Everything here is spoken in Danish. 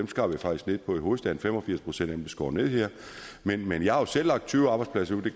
skar vi faktisk ned på i hovedstaden fem og firs procent af dem blev skåret ned her men men jeg har jo selv lagt tyve arbejdspladser ud det